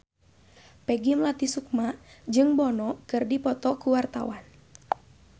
Peggy Melati Sukma jeung Bono keur dipoto ku wartawan